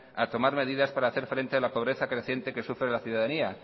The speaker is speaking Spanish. a tomar medidas para hacer frente a la pobreza creciente que sufre la ciudadanía